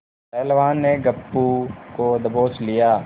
पहलवान ने गप्पू को दबोच लिया